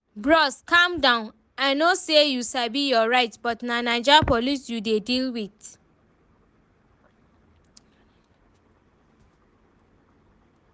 Bros calm down, I know say you sabi your right but na Naija police you dey deal with